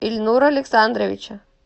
ильнура александровича